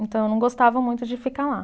Então, eu não gostava muito de ficar lá.